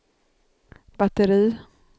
batteri